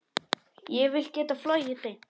Ég vil geta flogið beint.